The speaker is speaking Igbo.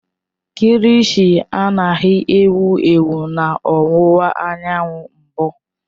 Kilishi anaghị ewu ewu na ọwụwa anyanwụ mbụ.